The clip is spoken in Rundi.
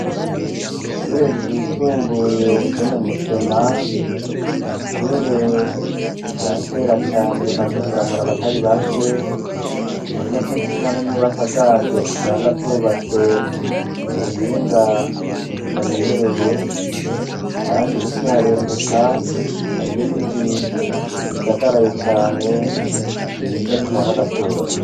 Ishure ryisumbuye ryo mu musema ni ishure rya kera cane rimaze kuramura abatari bake ari na co gituma n'inyubaka zaryo usanga azobatswe ku buhinga tutamenyereye, kandi ukiharenguka hariu igiti gisagaraye cane ciza gitanga agatutu.